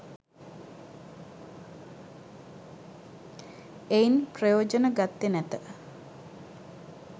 එයින් ප්‍රයොජන ගත්තේ නැත.